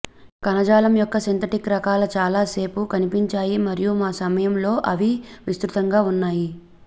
కణజాలం యొక్క సింథటిక్ రకాలు చాలా సేపు కనిపించాయి మరియు మా సమయం లో అవి విస్తృతంగా ఉన్నాయి